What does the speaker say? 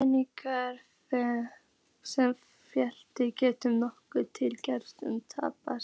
peningar sem félagið getur notað til greiðslu taps.